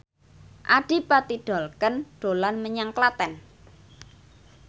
Adipati Dolken dolan menyang Klaten